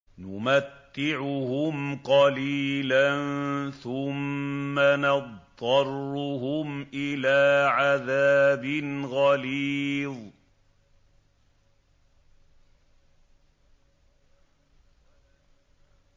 نُمَتِّعُهُمْ قَلِيلًا ثُمَّ نَضْطَرُّهُمْ إِلَىٰ عَذَابٍ غَلِيظٍ